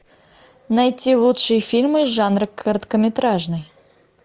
найти лучшие фильмы жанра короткометражный